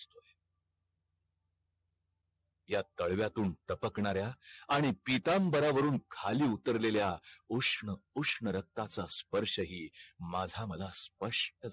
ह्या तळव्यातून तापकनार्या आणि पीतांबऱ्या वरून खाली उतरलेला उष्ण उष्ण रक्ताचा स्पर्श हि माझा माला स्पष्ट